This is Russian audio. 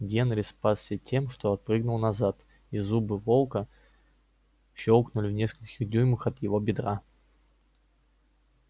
генри спасся тем что отпрыгнул назад и зубы волка щёлкнули в нескольких дюймах от его бедра